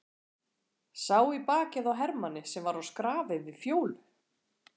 Sá í bakið á hermanni sem var á skrafi við Fjólu.